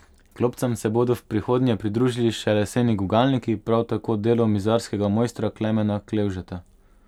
Klopcam se bodo v prihodnje pridružili še leseni gugalniki, prav tako delo mizarskega mojstra Klemena Klevžeta.